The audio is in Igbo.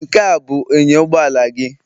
Nkea abụ inyo ụgbọala gị?